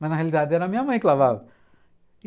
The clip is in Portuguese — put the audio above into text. Mas na realidade era minha mãe que lavava.